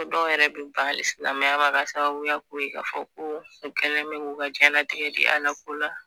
Fo dɔw yɛrɛ bi ban hali silamɛya ma ka sababuya k'o ye, ka fɔ ko, u kɛlen bɛ k'u ka jɛnlatigɛ di a la ko la